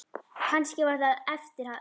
Kannski var það eftir að